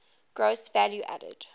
gross value added